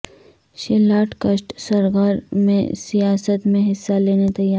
Sheila Dikshit سر گر م سیا ست میں حصہ لینے تیا ر